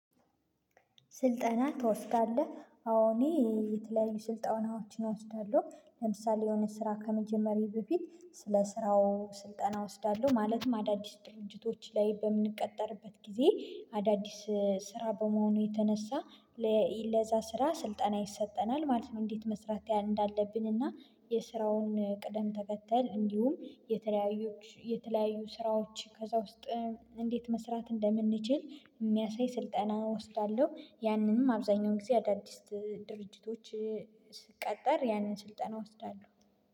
ስልጠና ትወስዳለህ አዎ እኔ የተለያዩ ስልጠናዎችን እወስዳለሁ ለምሳሌ የሆነ ስራ ከመጀመሬ በፊት ስለ ስራው ስልጠና እወስዳለሁ ማለትም አዳዲስ ድርንጅቶች ላይ በምንቀጠርበት ጊዜ አዳዲስ ስራ በመሆኑ የተነሳ ለዛ ስራ ስልጠና ይሰጠናል ማለት ነው። እንዴት መስራት እንዳለብን እና የስራውን ቅደም ተከተል እንዲሁም የተለያዩ የተለያዩ ስራዎች ከዛ ውስጥ እንዴት መስራት እንደምንችል የሚያሳይ ስልጠና እወስዳለሁ ያንንም አብዛኛውን ጊዜ አዳዲስ ድርጅቶች ስትቀጠር ያንን ስልጠና እወስዳለሁ